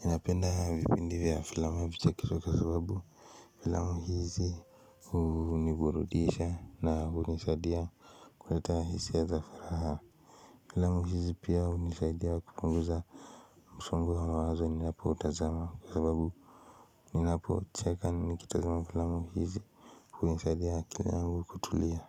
Ninapenda vipindi vya filamu ya kichekesho kwa sababu filamu hizi huniburudisha na hunisaidia kuleta hisia za furaha Filamu hizi pia hunisaidia kupunguza msongo wa mawazo ninapotazama kwa sababu Ninapocheka nikitazama filamu hizi hunisaidia akili yangu kutulia.